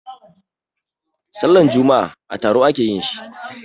Sallan juma'a a taro a ke yin shi.